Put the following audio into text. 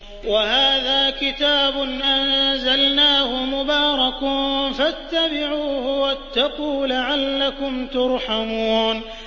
وَهَٰذَا كِتَابٌ أَنزَلْنَاهُ مُبَارَكٌ فَاتَّبِعُوهُ وَاتَّقُوا لَعَلَّكُمْ تُرْحَمُونَ